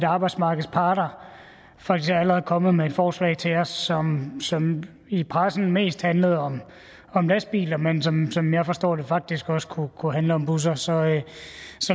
arbejdsmarkedets parter faktisk allerede er kommet med forslag til os som som i pressen mest handlede om lastbiler men som som jeg forstår det faktisk også kunne kunne handle om busser så